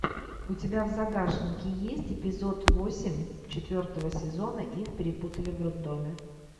у тебя в загашнике есть эпизод восемь четвертого сезона их перепутали в роддоме